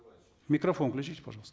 микрофон включите пожалуйста